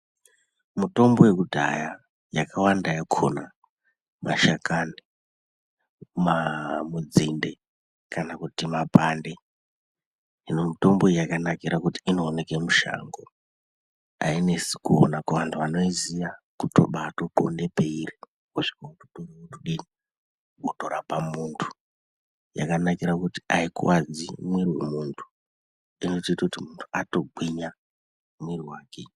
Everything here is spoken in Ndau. Mitombo yekudhaya yakawanda yakhona mashakani, nzinde kana kuti mapande. Hino mitombo iyi yakanakire kuti inooneke mushango. Ainesi kuona kuantu anoiziya kubaatoxonda peiri wotodini wotorapa munhu. Yakanakire kuti aikuwadzi mwiri wemunhu, inotoita kuti munhu atogwinya mwiri wake.